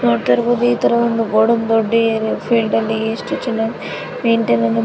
ನೋಡ್ತಾ ಇರಬಹುದು ಇದೊಂದು ಗೋಡನ್ ದೊಡ್ಡ ಫೀಲ್ಡಲ್ಲಿ ಎಷ್ಟು ಚೆನ್ನಾಗಿ ಮೇನ್ಟೇನ್ ಅನ್ನ --